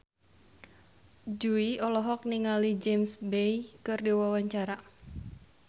Jui olohok ningali James Bay keur diwawancara